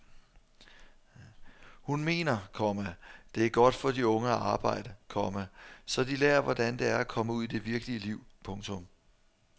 Hun mener, komma det er godt for de unge at arbejde, komma så de lærer hvordan det er at komme ud i det virkelige liv. punktum